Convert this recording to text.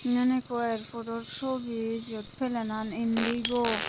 eyen ekko airpodo sobi jiyot pelenan Indigo.